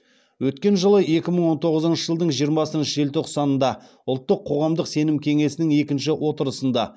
өткен жылы екі мың он тоғызыншы жылдың жиырмасыншы желтоқсанда ұлттық қоғамдық сенім кеңесінің екінші отырысында